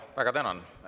Väga tänan.